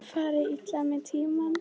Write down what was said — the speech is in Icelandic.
Fari illa með tímann.